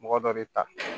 Mɔgɔ dɔ bɛ ta